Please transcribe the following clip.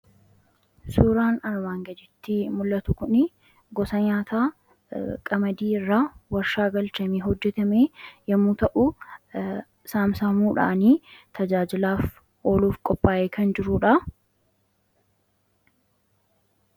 Suuraan armaan gaditti mul'atu kuni gosa nyaataa Qamadii irraa warshaa galchamee hojjetame yommuu ta'u saamsamuudhaan tajaajilaaf oluuf qophaa'ee kan jirudha.